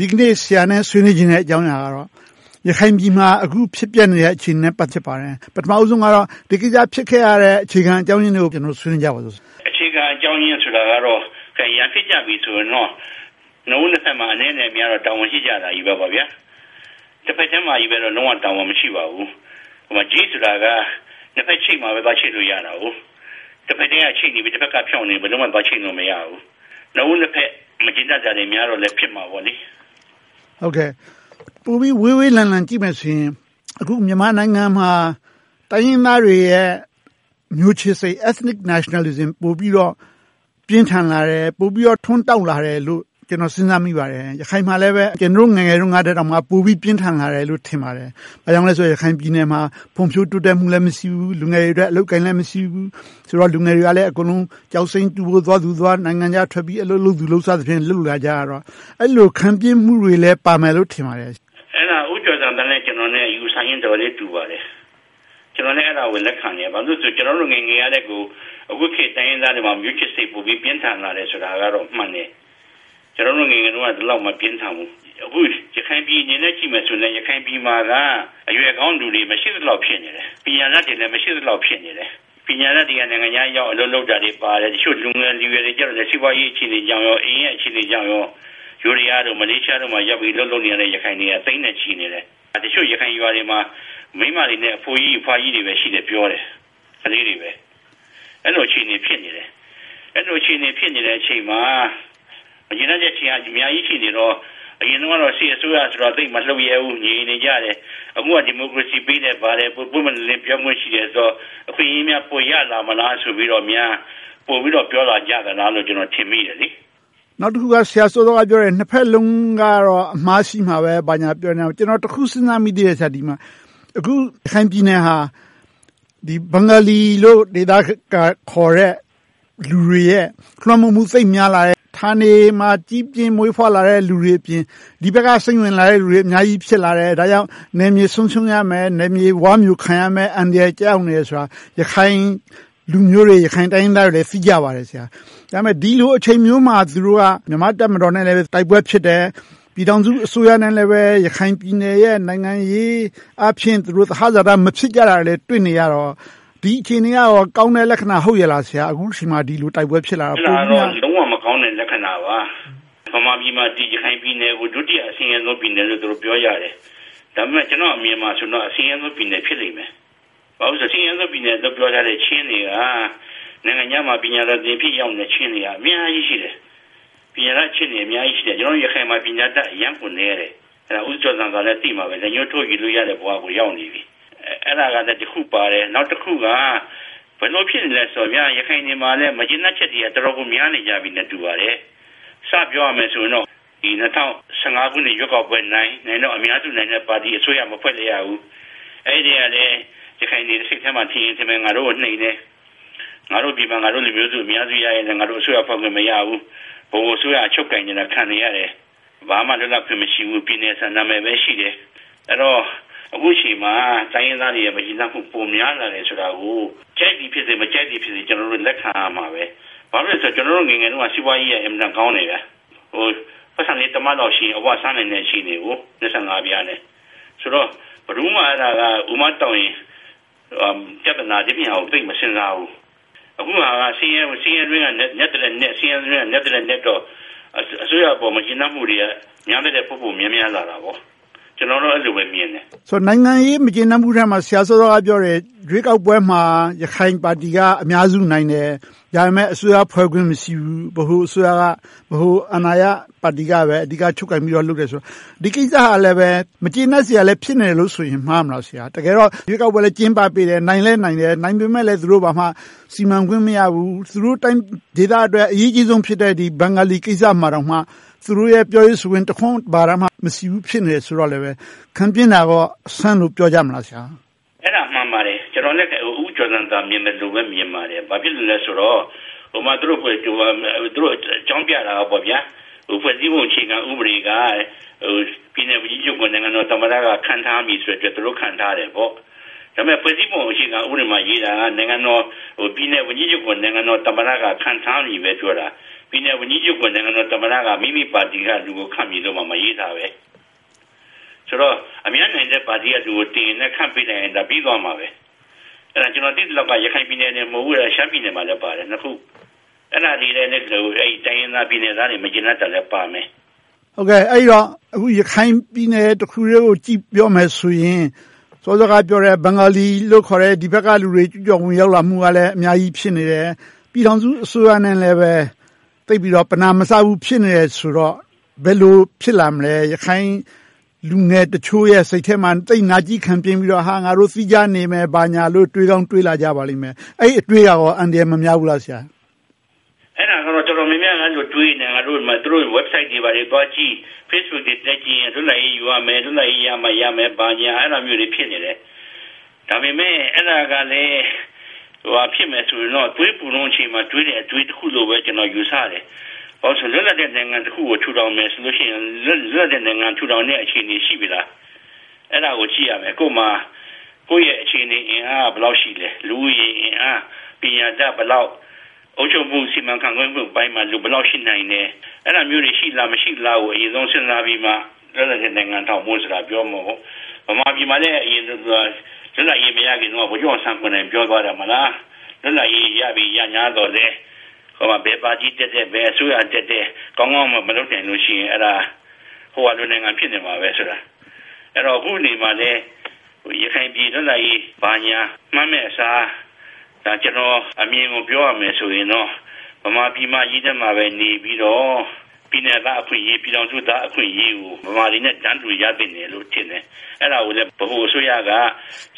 ဒီနေ့ ဆရာနဲ့ ဆွေးနွေးချင်တဲ့အကြောင်းအရာကတော့ ရခိုင်ပြည်မှာ အခုဖြစ်ပျက်နေတဲ့ အခြေအနေနဲ့ ပတ်သက်ပါတယ်။ ပထမဦးဆုံးကတော့ ဒီကိစ္စဖြစ်ခဲ့ရတဲ့ အခြေခံအကြောင်းရင်းကို ဆွေးနွေးကြပါမယ်။ အခြေခံအကြောင်းရင်းကတော့ ရန်ဖြစ်ကြပြီဆိုရင်တော့ နှစ်ဦးနှစ်ဘက်မှာ အနည်းနဲ့အများတော့ တာဝန်ရှိကြတယ်။ တဘက်ထဲမှာတော့ လုံးဝတာဝန်မရှိပါဘူး။ ချိတ်ဆိုတာက နှစ်ဘက်ချိတ်မှာချိတ်လို့ရတယ်။ တဘက်ကချိတ်နေပြီး တဘက်က ဖြောင့်နေရင် ဘယ်လိုမှ သွားချိတ်လို့မရဘူး။ နှစ်ဦးနှစ်ဘက် မကျေနပ်တာတွေများတော့လဲ ဖြစ်မှာပေါ့။ ပိုပြီးဝေးဝေးလံလံ ကြည့်မယ်ဆိုရင် အခုမြန်မာနိုင်ငံမှာ တိုင်းရင်းသားတွေရဲ့ မျိုးချစ်စိတ် Ethnic Nationalism ပိုပြီးတော့ ပြင်းထန်လာတယ်၊ ပိုပြီးတော့ ထွန်းတောက်လာတယ်လို့ ကျနော် စဉ်းစားမိပါတယ်။ ရခိုင်မှာလည်း ကျနော်တို့ ငယ်ငယ်တုန်းကထက် ပိုပြီးပြင်းထန်လာတယ်လို့ ထင်ပါတယ်။ ဘာကြောင့်လဲဆိုတော့ ရခိုင်ပြည်နယ်မှာ ဖွံ့ဖြိုးတိုးတက်မှုလည်း မရှိဘူး။ လူငယ်တွေအတွက် အလုပ်အကိုင်လည်း မရှိဘူး။ ဆိုတော့ လူငယ်တွေကလည်း ကျောက်စိမ်းတူးဖော်ဖို့သွားသူ၊ နိုင်ငံခြားသွား အလုပ်လုပ်သူတွေနဲ့ လုပ်လာကြရတော့ အဲဒီလို ခံပြင်းမှုတွေလည်း ပါမယ်လို့ ထင်ပါတယ်။ အဲဒါ ဦးကျော်ဇံသာနဲ့ ကျနော် အယူအဆချင်း တော်တော်လေးတူပါတယ်။ ကျနော်လည်း အဲဒါကို လက်ခံတယ်။ ကျနော်တို့ ငယ်ငယ်တုန်းကထက် အခုခေတ် တိုင်းရင်းသားတွေမှာ မျိုးချစ်စိတ် ပိုပြီးပြင်းထန်လာတယ်ဆိုတာတော့ မှန်တယ်။ ကျနော်တို့ ငယ်ငယ်က ဒီလောက်ထိ မပြင်းထန်ဘူး။ အခု ရခိုင်ပြည်အနေနဲ့ ကြည့်မယ်ဆိုရင် ရခိုင်ပြည်မှာက အရွယ်ကောင်းလူတွေ မရှိသလောက် ဖြစ်နေတယ်။ ပညာတတ်တွေလည်း မရှိသလောက် ဖြစ်နေတယ်။ ပညာတတ်တွေက နိုင်ငံခြားရောက် အလုပ်လုပ်နေတာပါတယ်။ တချို့လူငယ်လူရွယ်တွေကြတော့ စီးပွားရေးအခြေအနေကြောင့်၊ အိမ်ရဲ့အခြေအနေကြောင့် ယိုးဒယား၊ မလေးရှားတို့မှာရောက်ပြီး အလုပ်လုပ်နေကြတဲ့ ရခိုင်တွေက သိန်းနဲ့ချီနေတယ်။ တချို့ရခိုင်ရွာတွေမှာ၊ မိန်းမတွေနဲ့ အဖိုးကြီး၊ အဖွားကြီးတွေ၊ ခလေးတွေပဲ ရှိတယ်လို့ပြောတယ်။ အဲဒီလို အခြေအနေ ဖြစ်နေတယ်။ အဲဒီလို အခြေအနေ ဖြစ်နေတဲ့အချိန်မှာ မကျေနပ်ချက်တွေက အများကြီးဖြစ်နေတော့ အရင်တုန်းကတော့ စစ်အစိုးရဆိုတော့ မလှုပ်ရဲဘူး ငြိမ်နေခဲ့တယ်။ အခုက ဒီမိုကရေစီပေးတယ် ပွင့်ပွင့်လင်းလင်း ပြောခွင့်ရှိတယ်ဆိုတော့ အခွင့်အရေးများ ပိုရလာမလားဆိုပြီးတော့များ ပိုပြီးတော့ပြောလာကြသလားလို့ ကျနော် ထင်မိတယ်။ နောက်တခုက ဆရာစောစောကပြောတဲ့ နှစ်ဘက်စလုံးကတော့ အမှားရှိမှာပဲ ဘာညာပြောတာကို ကျနော် တခုစဉ်းစားမိတာက အခု ရခိုင်ပြည်နယ်ဟာ ဘင်္ဂလီလို့ ဒေသကခေါ်တဲ့ လူတွေရဲ့ လွှမ်းမိုးမှု သိပ်များလာတယ်။ ဌာနေမှာ မွေးဖွားကြီးပြင်းလာတဲ့ လူတွေအပြင် ဒီဘက်က စိမ့်ဝင်လာတဲ့လူတွေ အများကြီးဖြစ်လာတယ်။ ဒါကြောင့်မို့ နယ်မြေဆုံးရှုံးတော့မယ်၊ ဝါးမြိုခံရတော့မယ့် အန္တရာယ်ကျရောက်နေတာ ရခိုင်လူမျိုးတွေ၊ ရခိုင်တိုင်းရင်းသားတွေ သိကြပါတယ်။ ဒီလိုအချိန်မျိုးမှာ မြန်မာ့တပ်မတော်နဲ့ တိုက်ပွဲတွေဖြစ်တယ်။ ပြည်ထောင်စုအစိုးရနဲ့လည်း ရခိုင်ပြည်နယ်ရဲ့ နိုင်ငံရေးအားဖြင့် သဟဇာတ မဖြစ်ကြတာတွေလည်း တွေ့နေရတော့ ဒီအခြေအနေက ကောင်းတဲ့လက္ခဏာ ဟုတ်ရဲ့လား။ အခုအချိန်မှာ တိုက်ပွဲဖြစ်လာတော့။ အဲဒါကတော့ လုံးဝမကောင်းတဲ့ လက္ခဏာပါ။ ဗမာပြည်မှာ ရခိုင်ပြည်နယ်ကို ဒုတိယအဆင်းရဲဆုံး ပြည်နယ်လို့ ပြောကြတယ်။ ဒါပေမဲ့ ကျနော့်အမြင်မှာတော့ အဆင်းရဲဆုံးပြည်နယ် ဖြစ်လိမ့်မယ်။ ဘာဖြစ်လို့လဲဆိုတော့ အဆင်းရဲဆုံးပြည်နယ်လို့ ပြောထားတဲ့ ချင်းတွေက နိုင်ငံခြားမှာ ပညာတော်သင်ရထားတဲ့ ချင်းတွေက အများကြီးရှိတယ်။ ပညာတတ်ချင်းတွေ အများကြီးရှိတယ်။ ရခိုင်မှာ ပညာတတ် အရမ်းကိုနည်းတယ်။ ဦးကျော်ဇံသာလည်း သိမှာပါ လက်ညိုးထိုးရေတွက်လို့ရတဲ့ အခြေအနေကို ရောက်နေပြီ။ အဲဒါလဲ တခုပါတယ်။ နောက်တခုက ဘယ်လိုဖြစ်နေလဲဆိုတော့ ရခိုင်မှာလည်း မကျေနပ်ချက်တွေ တော်တော်လေး များနေကြပြီထင်တယ်။ စပြောရမယ်ဆိုရင်တော့ ၂၀၁၅ ရွေးကောက်ပွဲနိုင်တော့ အများစုနိုင်တဲ့ ပါတီအစိုးရ မဖွဲ့လိုက်ရဘူး။ အဲဒီမှာ ရခိုင်တွေစိတ်ထဲမှာထင်မယ် ငါတို့ကို နှိမ်တယ်။ ဒီမှာ ငါတို့လူမျိုးစု အများစုနိုင်တယ် ငါတို့ အစိုးရဖွဲ့ခွင့် မရဘူး။ ဗဟိုအစိုးရ ချုပ်ကိုင်တာကို ခံနေရတယ်။ ဘာမှလွတ်လပ်ခွင့်မရှိဘူး၊ ပြည်နယ်ဆန္ဒမဲပဲရှိတယ်။ အဲဒီတော့ အခုအချိန်မှာ တိုင်းရင်းသားတွေ မကျေနပ်မှု ပိုများလာတယ်ဆိုတာကို ကြိုက်သည်ဖြစ်စေ၊ မကြိုက်သည်ဖြစ်စေ ကျနော်တို့ လက်ခံရမယ်။ ဘာဖြစ်လို့လဲဆိုတော့ ကျနော်တို့ ငယ်ငယ်တုန်းက စီးပွားရေးက အင်မတန်ကောင်းတယ်။ ပိုက်ဆံလေး တမတ်လောက်ရှိရင် အဝစားနိုင်တဲ့ အခြေအနေ။ ဆိုတော့ ဘယ်သူမှ အူမတောင့်ရင် ပြဿနာ၊ ဒီအပြင်ဟာကို ဘယ်သူမှ မစဉ်းစားဘူး။ အခုဟာက ဆင်းရဲတွင်းက နက်သထက်နက်တော့ အစိုးရပေါ် မကျေနပ်မှုတွေ များသထက် ပိုပိုများလာတယ်။ ကျနော်ကတော့ အဲဒီလိုပဲမြင်တယ်။ နိုင်ငံရေးမကျေနပ်မှုထဲမှာ ဆရာ စောစောကပြောတယ် ရွေးကောက်ပွဲမှာ ရခိုင်ပါတီက အများစုနိုင်တယ်။ ဒါပေမဲ့ အစိုးရဖွဲ့ခွင့် မရှိဘူး။ ဗဟိုအစိုးရက ဗဟိုအာဏာရပါတီကပဲ အဓိကချုပ်ကိုင်ပြီး လုပ်တယ်ဆိုတော့ ဒီကိစ္စကလည်း မကျေနပ်စရာလည်း ဖြစ်နေတယ်လို့ပြောရင် မှားမလား။ တကယ်တော့ ရွေးကောက်ပွဲလည်း ကျင်းပပေးတယ်။ နိုင်လည်းနိုင်တယ်။ နိုင်ပေမယ့်လဲ သူတို့မှာ ဘာမှစီမံခွင့်မရဘူး။ သူတို့တိုင်းဒေသအတွက် အရေးကြီးဆုံးဖြစ်တဲ့ ဘင်္ဂလီကိစ္စမှာတောင်မှ သူတို့ရဲ့ ပြောရေးဆိုခွင့်တခွန်းမှ မရှိဘူးဖြစ်နေတယ်ဆိုတော့ ခံပြင်းတာကို အဆန်းလို့ပြောကြမလား။ အဲဒါမှန်ပါတယ်။ ကျနော်လည်း ဦးကျော်ဇံသာ မြင်သလိုပဲ မြင်ပါတယ်။ ဘာဖြစ်လို့လဲဆိုတော့ သူတို့အကြောင်းပြတာက ဖွဲ့စည်းပုံအခြေခံဥပဒေက ပြည်နယ်ဝန်ကြီးချုပ်ကို သမ္မတက ခန့်ထားမည်ဆိုလို့ သူတို့ ခန့်ထားတယ်ပေါ့။ ဒါပေမဲ့ ဖွဲ့စည်းပုံအခြေခံဥပဒေမှာ ရေးထားတာက ပြည်နယ်ဝန်ကြီးချုပ်ကို နိုင်ငံတော်သမ္မတက ခန့်ထားမည်လို့ပဲ ပြောတာ။ ပြည်နယ်ဝန်ကြီးချုပ်ကို မိမိပါတီကလူကိုပဲ ခန့်မည်လို့ မရေးထားဘူး။ ဆိုတော့ အများနိုင်တဲ့ပါတီကလူကို တင်ပြီးခန့်ထားလိုက်ရင်လဲ ပြီသွားမှာပဲ။ ကျနော် သိသလောက် ရခိုင်ပြည်နယ်တင်မဟုတ်ဘူး ရှမ်းပြည်နယ်မှာလည်းပါတယ်။ အဲဒါတွေက တိုင်းရင်းသား ပြည်နယ်သားတွေ မကျေနပ်တာလည်းပါမယ်။ အခု ရခိုင်ပြည်နယ်တခုတည်းကိုကြည့်ပြီး ပြောမယ်ဆိုရင် စောစောကပြောတဲ့ ဘင်္ဂလီလို့ခေါ်တဲ့ ဒီဘက်လူတွေ ကျူးကျော်လာမှုကလည်း အများကြီးဖြစ်နေတယ်။ ပြည်ထောင်စုအစိုးရနဲ့လည်း သိပ်ပြီးတော့ ပနာမစားဘူးဆိုတော့ ဘယ်လိုဖြစ်လာနိုင်သလဲ။ ရခိုင်ပြည်နယ်လူငယ်တချို့ရဲ့ စိတ်ထဲမှာ သိပ်နာကျည်းခံပြင်းပြီးတော့ ငါတို့ သီးခြားနေမယ်၊ ဘာညာတို့ တွေးကောင်းတွေးလာကြပါလိမ့်မယ်။ အဲဒီအတွေးက အန္တရာယ် မများဘူးလား။ အဲဒါတော့ တော်တော်များများ တွေးနေကြတယ်။ သူတို့ အင်တာနက်စာမျက်နာ တို့ကို သွားကြည့်၊ Facebook တွေ တက်ကြည့်ရင် လွတ်လပ်ရေးယူရမယ်။ လွတ်လပ်ရေးရမှ ရမယ် ဘာညာ အဲဒါမျိုးတွေ ဖြစ်နေတယ်။ ဒါပေမဲ့လဲ အဲဒါကလဲ သွေးပူတဲ့အချိန်မှာတွေးတဲ့ အတွေးတခုလိုပဲ ကျနော် ယူဆတယ်။ ဘာဖြစ်လို့လဲဆိုတော့ လွတ်လပ်တဲ့ နိုင်ငံတခုကို ထူထောင်မယ်ဆိုလို့ရှိရင် လွတ်လပ်တဲ့နိုင်ငံ ထူထောင်နိုင်မယ့် အခြေအနေ ရှိနေပြီလား။ အဲဒါကို ကြည့်ရမယ်။ ကိုယ့်မှာ ကိုယ့်ရဲ့အခြေအနေအင်အားက ဘယ်လောက်ရှိသလဲ။ လူဦးရေအင်အား၊ ပညာတတ် ဘယ်လောက်၊ အုပ်ချုပ်မှု စီမံခန့်ခွဲမှုတွေမှာ လူဘယ်လောက်ရှိနိုင်သလဲ။ အဲဒါမျိုးတွေ ရှိသလား၊ မရှိဘူးလားဆိုတာကို စဉ်းစားပြီးမှ လွတ်လပ်တဲ့နိုင်ငံ ထူထောင်ဖို့ကို ပြောနိုင်တယ်။ ဗမာပြည်မှာလည်း လွတ်လပ်ရေးမရခင်တုန်းက ဗိုလ်ချုပ်အောင်ဆန်းကိုယ်တိုင် ပြောသွားတယ် မဟုတ်လား… လွတ်လပ်ရေးပင် ရသော်ရငြားလည်း ဘယ်ပါတီတက်တက်၊ ဘယ်အစိုးရတက်တက် ကောင်းကောင်းမွန်မွန် မလုပ်လို့ရှိရင် အဲဒါ ဟိုဟာလို့နိုင်ငံ ဖြစ်နေမှာပဲလို့ ပြောသွားတယ်။ အခုအနေအခါမှာလဲ ရခိုင်ပြည် လွတ်လပ်ရေး ဘာညာမှန်းမယ့်အစား ကျနော့်အမြင်ကို ပြောရမယ်ဆိုရင်တော့ ဗမာပြည်မကြီးထဲမှာပဲ နေပြီးတော့ ပြည်နယ်သားအခွင့်အရေး၊ ပြည်နယ်အခွင့်အရေးတွေကို ဗမာတွေနဲ့အတူ တန်းတူရသင့်တယ်လို့ ထင်တယ်။ အဲဒါကို ဗဟိုအစိုးရက